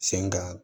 Sen kan